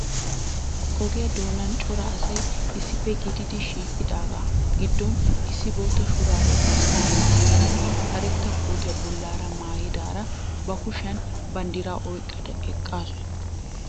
Ogiya doonan cora asay issippe gididi shiiqidaagaa giddon issi bootta shuraabiya garssaara maayada karetta kootiya bollaara maayidaara ba kushiyan banddiraa oyqqada eqqaasu.